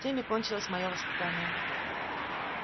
тем и кончилось моё воспитание